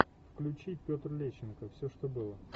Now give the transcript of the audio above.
включи петр лещенко все что было